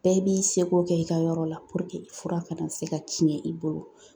Bɛɛ b'i seko kɛ i ka yɔrɔ la fura kana se ka tiɲɛ i bolo .